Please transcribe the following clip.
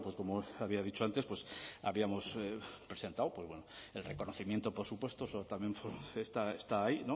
como había dicho antes habíamos presentado el reconocimiento por supuesto eso también está ahí